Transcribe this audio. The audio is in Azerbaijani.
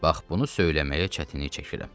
Bax bunu söyləməyə çətinlik çəkirəm.